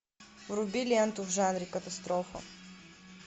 вруби ленту в жанре катастрофа